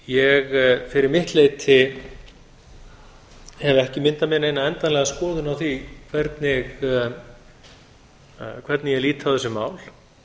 ég fyrir mitt leyti hef ekki myndað mér neina endanlega skoðun á því hvernig ég lít á þessi mál